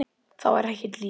Það var ekkert líf.